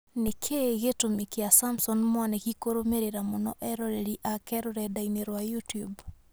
Nĩkĩĩ gĩtũmi kĩa Samson Mwanĩki kũrũmĩrĩra mũno eroreri ake rũrenda-inĩ rwa youtube